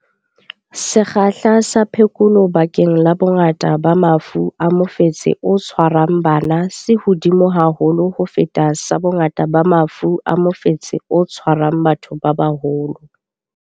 Sekgahla sa phekolo bakeng la bongata ba mafu a mofetshe o tshwarang bana se hodimo haholo ho feta sa bongata ba mafu a mofetshe o tshwarang batho ba baholo.